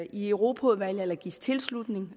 i europaudvalget eller gives tilslutning